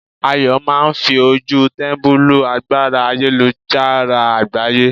Ayo máà ń fi ojú tẹ́mbẹ́lú agbára ayélujára àgbáyé.